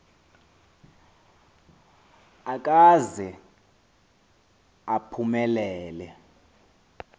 akaze aphume lele